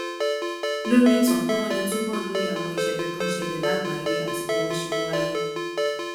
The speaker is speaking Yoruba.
lórí ìtàn kí wón lè túbò lóye àwọn ìṣèlè tó ń ṣẹlè lágbàáyé àti bí wón ṣe ń wáyé